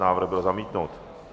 Návrh byl zamítnut.